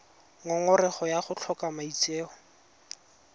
ngongorego ya go tlhoka maitseo